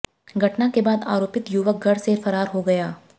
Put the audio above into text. घटना के बाद आरोपित युवक घर से फरार हो गया